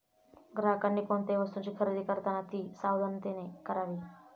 ग्राहकांनी कोणत्याही वस्तूंची खरेदी करताना ती सावधानतेने करावी.